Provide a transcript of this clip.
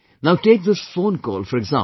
Now take this phone call for example